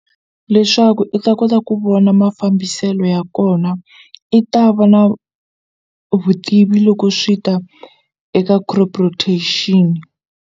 Leswaku i ta kota ku vona mafambiselo ya kona i ta va na vutivi loko swi ta eka crop rotation.